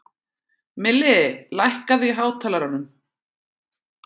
Milli, lækkaðu í hátalaranum.